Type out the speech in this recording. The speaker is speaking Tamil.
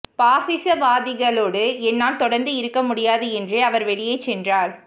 பாசிசவாதிகளோடு என்னால் தொடர்ந்து இருக்க முடியாது என்றே அவர் வெளியே சென்றார்